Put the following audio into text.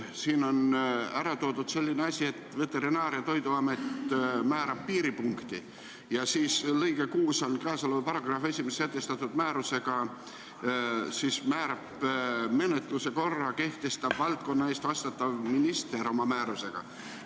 Siin on ära toodud, et Veterinaar- ja Toiduamet määrab piiripunkti, ja siis lõige 6 ütleb ka, et paragrahvi lõikes 1 sätestatud piiripunkti määramise taotluse sisu nõuded ning taotluse menetlemise korra kehtestab valdkonna eest vastutav minister määrusega.